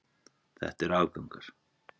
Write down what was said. Þetta eru afgangar.